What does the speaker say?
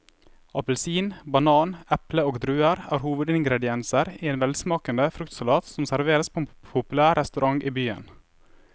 Appelsin, banan, eple og druer er hovedingredienser i en velsmakende fruktsalat som serveres på en populær restaurant i byen.